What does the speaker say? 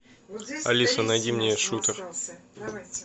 алиса найди мне шутер